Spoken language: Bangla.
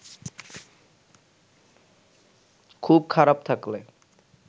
খুব খারাপ থাকলে